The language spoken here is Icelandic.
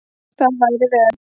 Það væri vel.